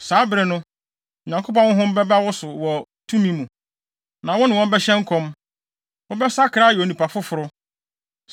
Saa bere no, Onyankopɔn Honhom bɛba wo so wɔ tumi mu, na wo ne wɔn bɛhyɛ nkɔm. Wobɛsakra ayɛ onipa foforo.